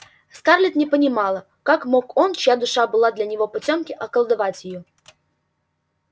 скарлетт не понимала как мог он чья душа была для него потёмки околдовать её